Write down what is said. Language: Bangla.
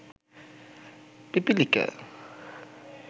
পিপীলিকা